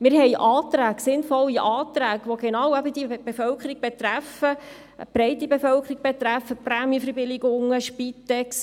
Wir haben sinnvolle Anträge gestellt, die eben genau die breite Bevölkerung betreffen: Prämienverbilligungen, Spitex.